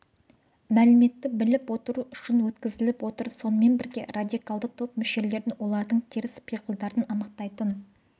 мәліметті біліп отыру үшін өткізіліп отыр сонымен бірге радикалды топ мүшелерін олардың теріс пиғылдарын анықтайтын